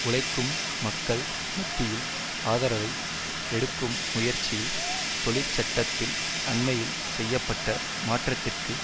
உழைக்கும் மக்கள் மத்தியில் ஆதரவை எடுக்கும் முயற்சியில் தொழிற் சட்டத்தில் அண்மையில் செய்ய பட்ட மாற்றத்திற்கு